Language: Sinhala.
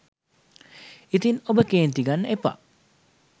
ඉතින් ඔබ කේන්ති ගන්න එපා.